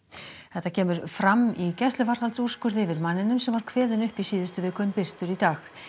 þetta kemur fram í gæsluvarðhaldsúrskurði yfir manninum sem var kveðinn upp í síðustu viku en birtur í dag